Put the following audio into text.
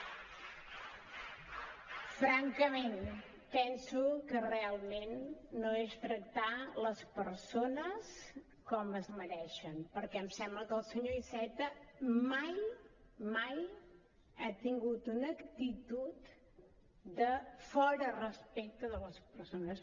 francament penso que realment no és tractar les persones com es mereixen perquè em sembla que el senyor iceta mai mai ha tingut una actitud de fora respecte de les persones